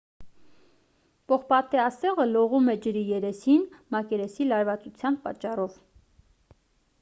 պողպատե ասեղը լողում է ջրի երեսին մակերեսի լարվածության պատճառով